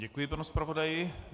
Děkuji panu zpravodaji.